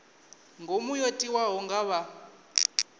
ngomu yo tiwaho nga vha